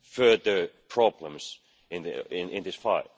further problems in this fight.